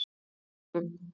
Flúðum